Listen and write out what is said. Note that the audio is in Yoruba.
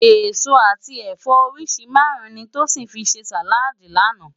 Esó ati ẹfọ óriṣi márùn ni Tosin fi sé sáládì làná